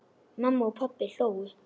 Mamma og pabbi hlógu.